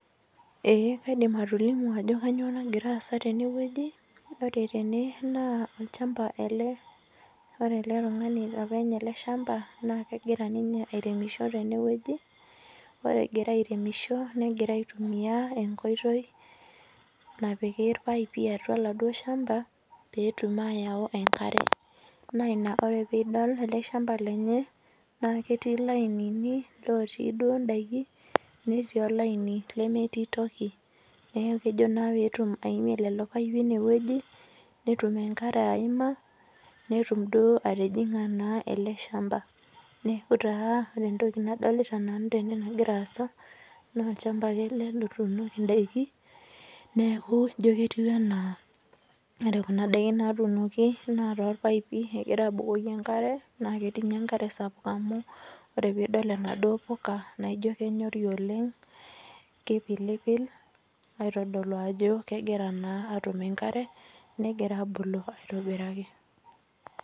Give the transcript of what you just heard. Kaidim atolimu Ajo kainyio nagira asaa tenewueji olchamba ore ele tung'ani openy ele shamba negira aitumia enkoitoi napiki irpaipi atua oladuo shamba petum ayautu enkare naa piidol ele shamba lenye aa ketii lainini otii duo daikin netii olaini lemetii toki neeku kejo petum aimie lelo paipii atua ene wueji netum enkare ayima netum naaduo atijinga ele shamba neeku taa ore entoki nadolita nanu tene nagira asaa naa olchamba ake ele otunoki endakii neeku ijio ketiu ena ore Kuna daikin naitunoki naa naa topaipie girai abukoki enkare naa ketii ninye enkare sapuk amu ore peidol enaduo puuka naa kemyori oleng kipilipil aitodolu Ajo kegira naa atum enkare negira abulu aitobiraki